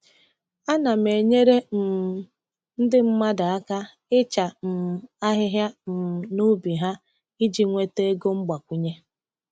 Ana m enyere um ndị mmadụ aka ịcha um ahịhịa um n’ubi ha iji nweta ego mgbakwunye.